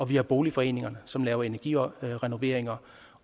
vi har boligforeningerne som laver energirenoveringer